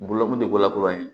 Bolo kun tɛ bɔla kura ye